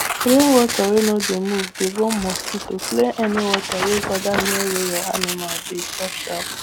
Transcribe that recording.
rainwater wey no dey move dey born mosquito clear any water wey gather near where your animal dey sharp sharp